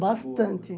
Bastante.